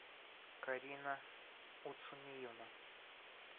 карина уцумиевна